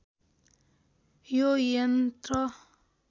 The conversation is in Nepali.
यो यन्त्र